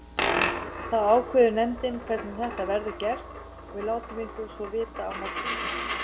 Þá ákveður nefndin hvernig þetta verður gert og við látum ykkur svo vita á morgun.